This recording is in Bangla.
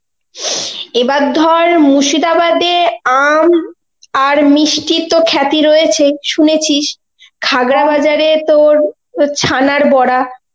এবার ধর মুর্শিদাবাদে আম আর মিষ্টি তো খ্যাতি রয়েছেই শুনেছিস খাগড়া বাজারে তোর, তোর ছানার বড়া.